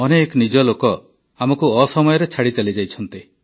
ଅନେକ ନିଜ ଲୋକ ଆମକୁ ଅସମୟରେ ଛାଡ଼ି ଚାଲିଯାଇଛନ୍ତି